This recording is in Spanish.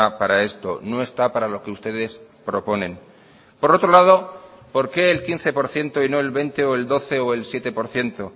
para esto no está para lo que ustedes proponen por otro lado por qué el quince por ciento y no el veinte o el doce o el siete por ciento